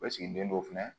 O sigilen don fɛnɛ